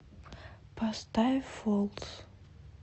поставь фолс